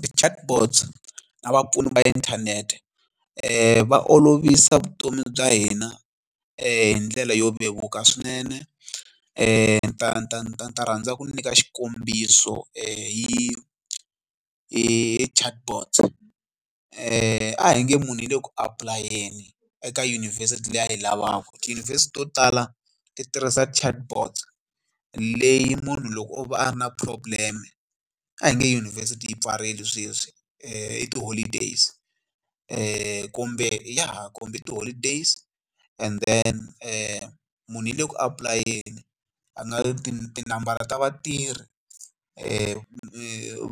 Ti-Chatbot na vapfuni va inthanete va olovisa vutomi bya hina hi ndlela yo vevuka swinene ni ta ta ta ta rhandza ku nyika xikombiso hi hi Chatbot a hi nge munhu yi le ku apulayeni eka yunivhesiti leyi a yi lavaka tiyunivhesiti to tala ti tirhisa Chatbot leyi munhu loko o va a ri na problem a hi nge yunivhesiti yi pfarile sweswi i ti-holidays kombe ya ha kombi ti-holidays and then munhu i le ku apulayeni tinambara ta vatirhi